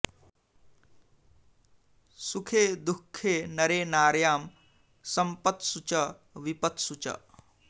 सुखे दुःखे नरे नार्यां सम्पत्सु च विपत्सु च